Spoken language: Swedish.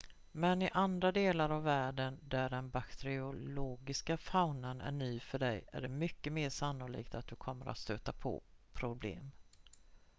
men i andra delar av världen där den bakteriologiska faunan är ny för dig är det mycket mer sannolikt att du kommer att stöta på problem